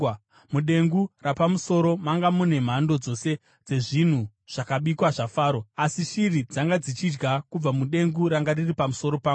Mudengu rapamusoro manga mune mhando dzose dzezvinhu zvakabikwa zvaFaro, asi shiri dzanga dzichidya kubva mudengu ranga riri pamusoro pangu.”